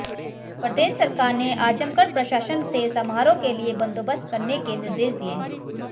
प्रदेश सरकार ने आजमगढ़ प्रशासन से समारोह के लिए बंदोबस्त करने के निर्देश दिये हैं